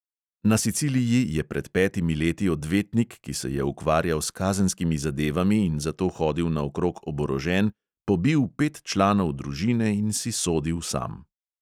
Na siciliji je pred petimi leti odvetnik, ki se je ukvarjal s kazenskimi zadevami in zato hodil naokrog oborožen, pobil pet članov družine in si sodil sam.